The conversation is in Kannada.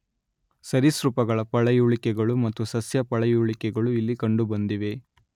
ಸರೀಸೃಪಗಳ ಪಳೆಯುಳಿಕೆಗಳು ಮತ್ತು ಸಸ್ಯ ಪಳೆಯುಳಿಕೆಗಳು ಇಲ್ಲಿ ಕಂಡುಬಂದಿವೆ.